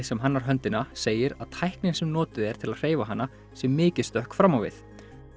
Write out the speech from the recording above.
sem hannar höndina segir að tæknin sem notuð er til að hreyfa hana sé mikið stökk fram á við